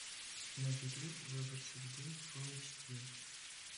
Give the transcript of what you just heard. набери выбор судьбы фул эйч ди